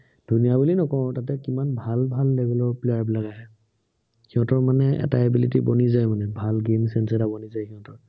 ধুনীয়া বুলি নকও, তাতে কিমান ভাল ভাল level ৰ player বিলাক আহে। সিহঁতৰ মানে এটা ability বনি যায়, মানে ভাল game sense এটা বনি যায় সিহঁতৰ।